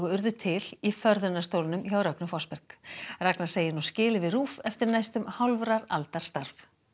urðu til í förðunarstólnum hjá Rögnu Fossberg ragna segir nú skilið við RÚV eftir næstum hálfrar aldar starf